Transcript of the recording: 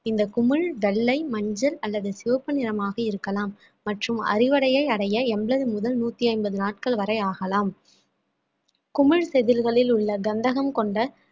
இந்த குமிழ் வெள்ளை மஞ்சள் அல்லது சிவப்பு நிறமாக இருக்கலாம் மற்றும் அறுவடையை அடைய எண்பது முதல் நூத்தி ஐம்பது நாட்கள் வரை ஆகலாம் குமிழ்திதிர்களில் உள்ள கந்தகம் கொண்ட